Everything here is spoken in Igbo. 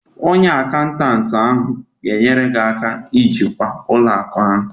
Onye akaụntantị ahụ ga-enyere gị aka ijikwa ụlọ akụ a